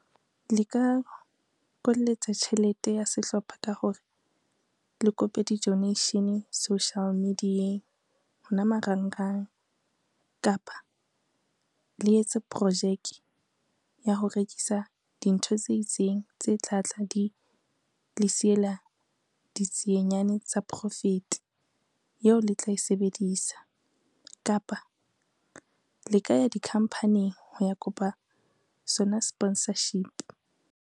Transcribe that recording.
Le ka kolletsa tjhelete ya sehlopha ka hore, le kope di-donation social media-eng hona marangrang kapa le etse projeke ya ho rekisa dintho tse itseng tse tla tla di le siyela ditsienyane tsa profit eo le tla e sebedisa. Kapa le ka ya dikhampaning ho ya kopa sona sponsorship.